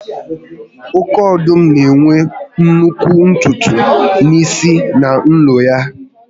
Oké ọdụm ma enwe nnukwu ntutu n'isi na n'nlo ya